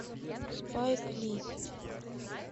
спайк ли